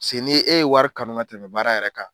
Paseke n' e ye wari kanu ka tɛmɛ baara yɛrɛ kan